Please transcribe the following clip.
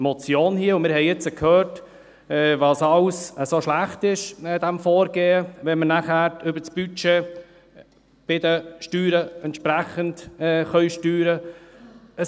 Wir haben jetzt gehört, was an diesem Vorgehen alles schlecht ist, wenn wir nachher über das Budget bei den Steuern entsprechend steuern können.